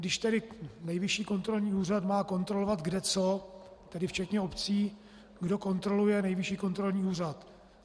Když tedy Nejvyšší kontrolní úřad má kontrolovat kde co, tedy včetně obcí, kdo kontroluje Nejvyšší kontrolní úřad?